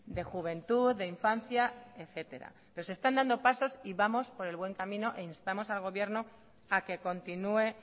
de juventud de infancia etcétera pero se están dando pasos y vamos por el buen camino e instamos al gobierno a que continúe